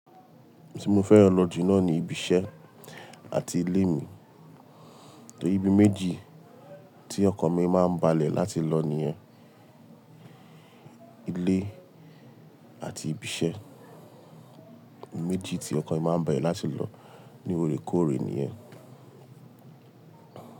Tí mo fẹ́ran lọ ju nani ibi iṣẹ́ àti ilé mi. Ibi méjì tí ọkan mi máa ń balẹ̀ láti lọ nìyẹn. Ilé àti ibi iṣẹ́. Ibi méjì tí ọkan mi máa ń bale láti lọ ní orekoore nìyẹn.